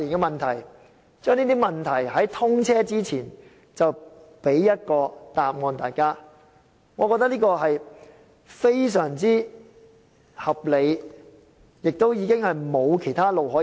把這些問題的答案在通車前給大家，我認為這是非常合理的，也沒有其他路可以走。